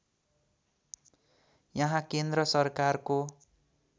यहाँ केन्द्र सरकारको